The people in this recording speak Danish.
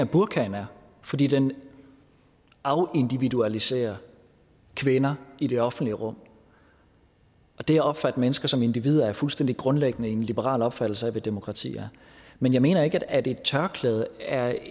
burkaen er fordi den afindividualiserer kvinder i det offentlige rum det at opfatte mennesker som individer er fuldstændig grundlæggende en liberal opfattelse af hvad demokrati er men jeg mener ikke at et tørklæde er